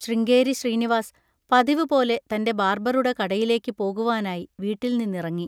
ശൃംഗേരി ശ്രീനിവാസ് പതിവുപോലെ തൻ്റെ ബാർബറുടെ കടയിലേക്ക് പോകുവാനായി വീട്ടിൽ നിന്നിറങ്ങി.